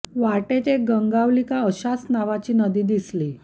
वाटेत एक गंगावली का अशाच नावाची नदी दिसली